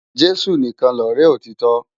Jesu nikán lòrè òtitò